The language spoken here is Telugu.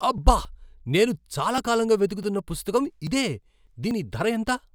అబ్బ! నేను చాలా కాలంగా వెతుకుతున్న పుస్తకం ఇదే. దీని ధర ఎంత?